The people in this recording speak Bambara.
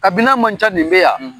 Kabi n'an m'an ca nin bɛ yan.